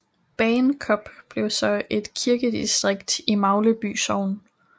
Bagenkop blev så et kirkedistrikt i Magleby Sogn